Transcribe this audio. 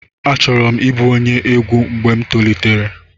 Achọrọ m ịbụ onye egwu mgbe m tolitere.